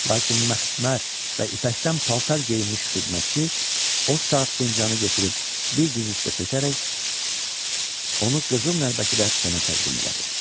Lakin məxmər və ipəkdən paltar geyinmiş xidmətçi o saat fincanı götürüb bir diz üstə çökərək onu qızıl nəlbəkidə Toma təqdim elədi.